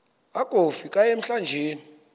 akofi ka emlanjeni